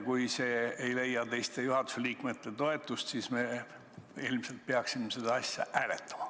Kui see ettepanek ei leia teiste juhatuse liikmete toetust, siis me ilmselt peaksime seda asja hääletama.